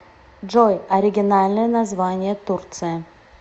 джой оригинальное название турция